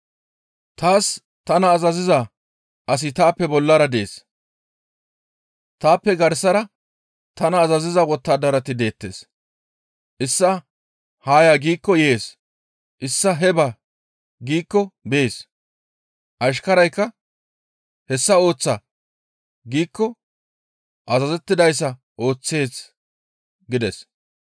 Taaska tana azaziza asi taappe bollara dees. Taappe garsara tani azaziza wottadarati deettes. Issaa, ‹Haa ya!› giikko yees; issaa, ‹Hee ba!› giikko bees; ashkaraykka, ‹Hessa ooththa!› giikko azazettidayssa ooththees» gides.